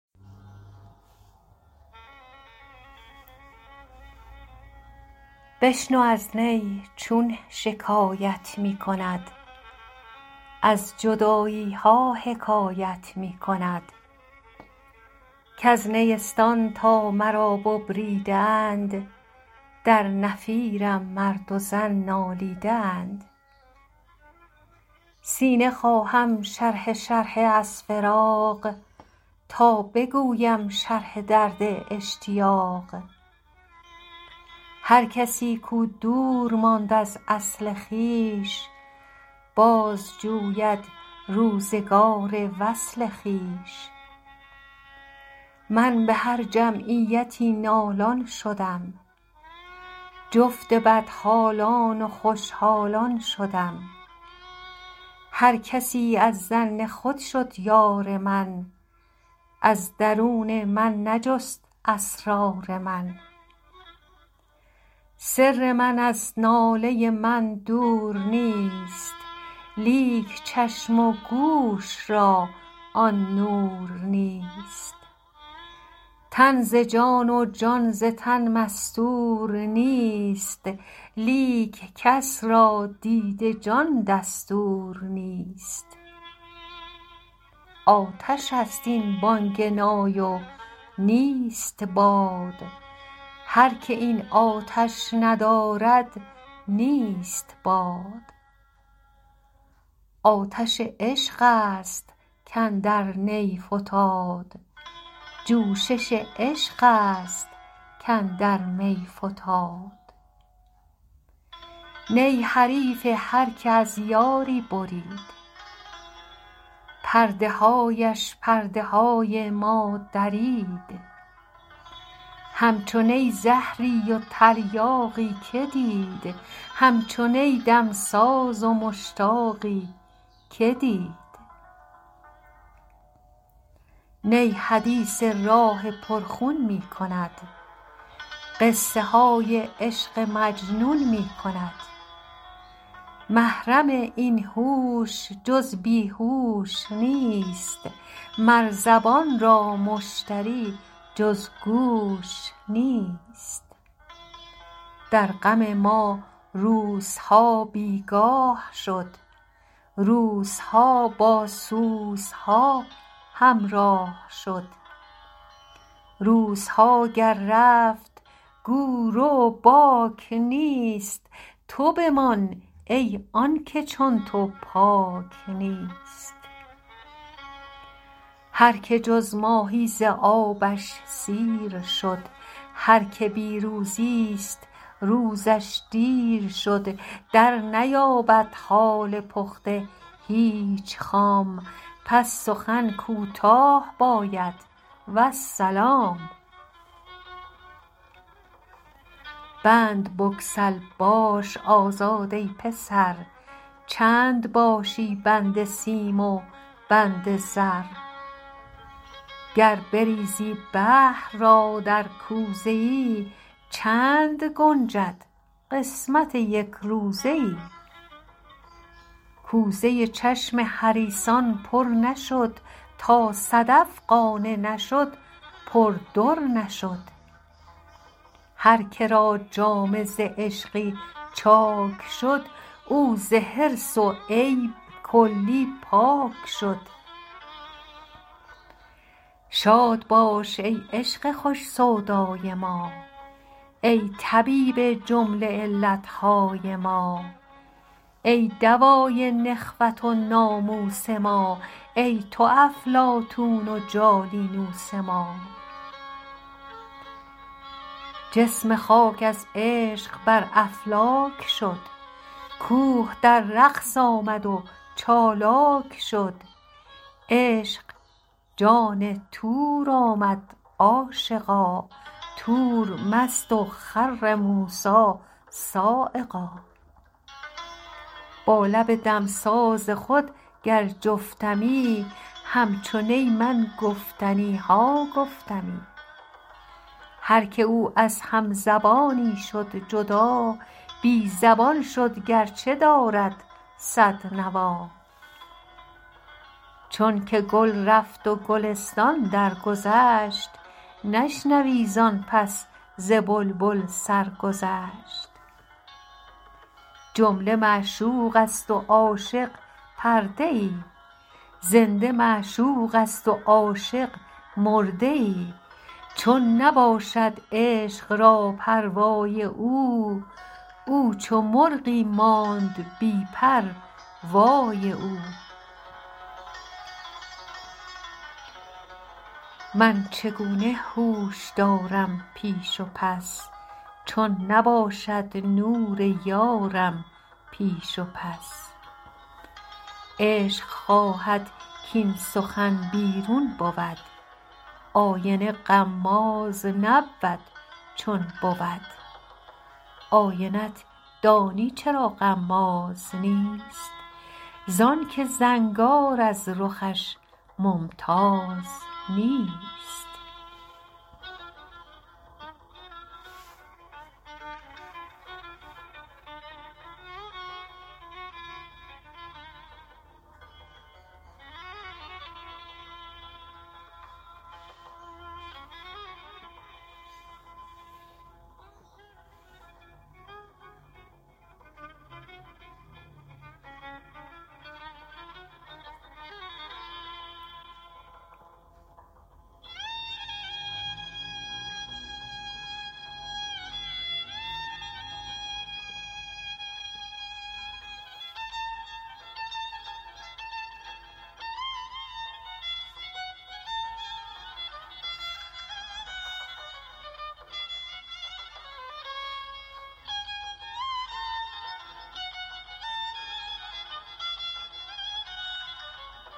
بشنو این نی چون شکایت می کند از جدایی ها حکایت می کند کز نیستان تا مرا ببریده اند در نفیرم مرد و زن نالیده اند سینه خواهم شرحه شرحه از فراق تا بگویم شرح درد اشتیاق هر کسی کو دور ماند از اصل خویش باز جوید روزگار وصل خویش من به هر جمعیتی نالان شدم جفت بدحالان و خوش حالان شدم هر کسی از ظن خود شد یار من از درون من نجست اسرار من سر من از ناله من دور نیست لیک چشم و گوش را آن نور نیست تن ز جان و جان ز تن مستور نیست لیک کس را دید جان دستور نیست آتش است این بانگ نای و نیست باد هر که این آتش ندارد نیست باد آتش عشق است کاندر نی فتاد جوشش عشق است کاندر می فتاد نی حریف هر که از یاری برید پرده هایش پرده های ما درید همچو نی زهری و تریاقی که دید همچو نی دمساز و مشتاقی که دید نی حدیث راه پر خون می کند قصه های عشق مجنون می کند محرم این هوش جز بی هوش نیست مر زبان را مشتری جز گوش نیست در غم ما روزها بیگاه شد روزها با سوزها همراه شد روزها گر رفت گو رو باک نیست تو بمان ای آنکه چون تو پاک نیست هر که جز ماهی ز آبش سیر شد هر که بی روزی ست روزش دیر شد در نیابد حال پخته هیچ خام پس سخن کوتاه باید والسلام بند بگسل باش آزاد ای پسر چند باشی بند سیم و بند زر گر بریزی بحر را در کوزه ای چند گنجد قسمت یک روزه ای کوزه چشم حریصان پر نشد تا صدف قانع نشد پر در نشد هر که را جامه ز عشقی چاک شد او ز حرص و عیب کلی پاک شد شاد باش ای عشق خوش سودای ما ای طبیب جمله علت های ما ای دوای نخوت و ناموس ما ای تو افلاطون و جالینوس ما جسم خاک از عشق بر افلاک شد کوه در رقص آمد و چالاک شد عشق جان طور آمد عاشقا طور مست و خر موسیٰ‏ صعقا با لب دمساز خود گر جفتمی همچو نی من گفتنی ها گفتمی هر که او از هم زبانی شد جدا بی زبان شد گر چه دارد صد نوا چون که گل رفت و گلستان درگذشت نشنوی زآن پس ز بلبل سرگذشت جمله معشوق است و عاشق پرده ای زنده معشوق است و عاشق مرده ای چون نباشد عشق را پروای او او چو مرغی ماند بی پر وای او من چگونه هوش دارم پیش و پس چون نباشد نور یارم پیش و پس عشق خواهد کاین سخن بیرون بود آینه غماز نبود چون بود آینه ت دانی چرا غماز نیست زآن که زنگار از رخش ممتاز نیست